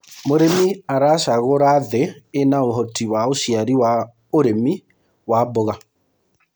mũrĩmi aracagura thii ina uhoti wa uciari wa ũrĩmi wa mboga